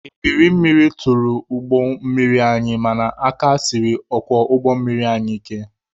Ebiri mmiri tụrụ ụgbọ mmiri anyị mana aka siri ọkwọ ụgbọ mmiri anyị ike.